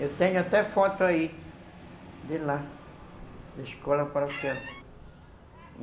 Eu tenho até foto aí, de lá, da Escola Paroquial.